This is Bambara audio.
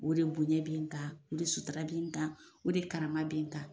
O de bonɲɛ b'an kan, o de sutura b'an kan o de karama b'an kan.